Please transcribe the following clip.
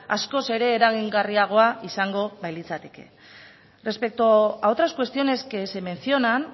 askoz ere eragingarriagoa izango bailitzateke respecto a otras cuestiones que se mencionan